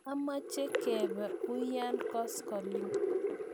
Aache kepe uya koskiling'.